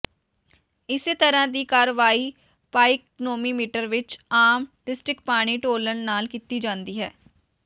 ਇਸੇ ਤਰ੍ਹਾਂ ਦੀ ਕਾਰਵਾਈ ਪਾਈਕਨੋਮੀਟਰ ਵਿਚ ਆਮ ਡਿਸਟ੍ਰਿਕਡ ਪਾਣੀ ਡੋਲਣ ਨਾਲ ਕੀਤੀ ਜਾਂਦੀ ਹੈ